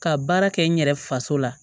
Ka baara kɛ n yɛrɛ faso la